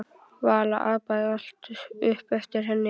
Vala apaði allt upp eftir henni.